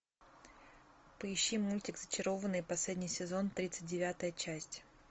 поищи мультик зачарованные последний сезон тридцать девятая часть